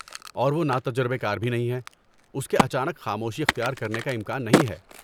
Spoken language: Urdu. اور وہ ناتجربہ کار بھی نہیں ہے، اس کے اچانک خاموشی اختیار کرنے کا امکان نہیں ہے۔